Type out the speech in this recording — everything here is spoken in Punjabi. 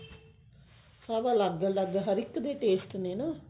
ਸਭ ਅਲੱਗ ਹਰ ਇੱਕ ਦੇ taste ਨੇ ਨਾ